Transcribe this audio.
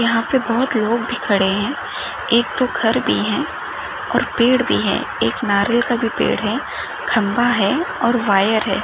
यहा पे बहुत लोग भी खड़े है एक दो घर भी है और पेड़ भी है एक नारियल का भी पेड़ है खंबा है और वायर है।